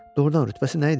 Doğrudan rütbəsi nə idi?